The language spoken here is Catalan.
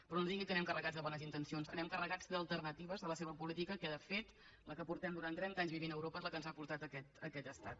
però no ens digui que anem carregats de bones intencions anem carregats d’alternatives a la seva política que de fet la que fa trenta anys que vivim a europa és la que ens ha portat a aquest estat